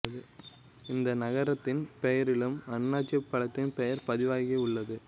இந்த நகரத்தின் பெயரிலும் அன்னாசிப் பழத்தின் பெயர் பதிவாகி உள்ளது